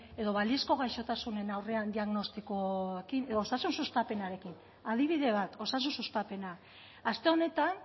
edo balizko gaixotasunen aurrean diagnostikoekin edo osasun sustapenarekin adibide bat osasun sustapena aste honetan